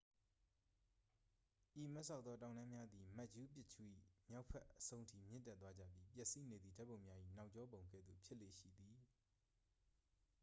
ဤမတ်စောက်သော တောင်တန်းများသည် မတ်ချူးပစ်ချူး၏ မြောက်ဘက်အဆုံးထိ မြင့်တက်သွားကြပြီး ပျက်စီးနေသည့် ဓာတ်ပုံများ၏ နောက်ကျောပုံကဲ့သို့ ဖြစ်လေ့ရှိသည်